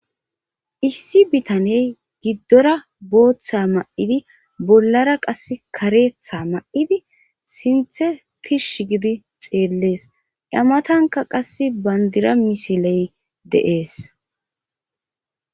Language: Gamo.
Issi bitaney giddora booththa ma7idi bollara qas kareetha ma7idi sinthe tish gidi xeellees amatanka qass bandira misiley de7ees.